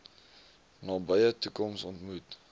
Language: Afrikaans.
nabye toekoms ontmoet